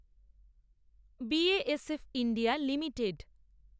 BASF India limited